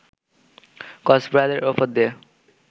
ক্রসবারের ওপর দিয়ে